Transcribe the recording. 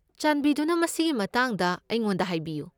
ꯆꯥꯟꯕꯤꯗꯨꯅ ꯃꯁꯤꯒꯤ ꯃꯇꯥꯡꯗ ꯑꯩꯉꯣꯟꯗ ꯍꯥꯏꯕꯤꯌꯨ꯫